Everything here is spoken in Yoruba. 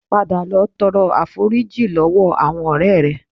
Padà lọ tọrọ àforíjì lọ́wọ́ àwọn ọ̀rẹ́ rẹ